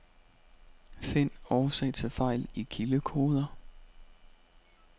Find årsag til fejl i kildekoder.